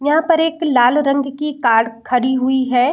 यहां पर एक लाल रंग की कार खड़ी हुई है।